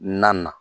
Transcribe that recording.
Na na